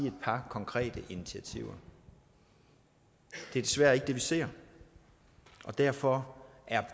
et par konkrete initiativer det er desværre ikke det vi ser og derfor er